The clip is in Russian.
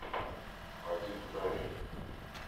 вадим дарий